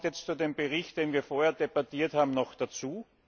Das kommt jetzt zu dem Bericht, den wir vorher debattiert haben, noch dazu.